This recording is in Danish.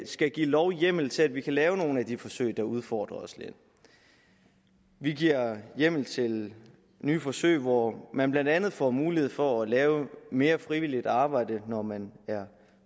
skal give lovhjemmel til at vi kan lave nogle af de forsøg der udfordrer os lidt vi giver hjemmel til nye forsøg hvor man blandt andet får mulighed for at lave mere frivilligt arbejde når man er